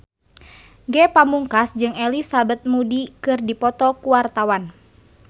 Ge Pamungkas jeung Elizabeth Moody keur dipoto ku wartawan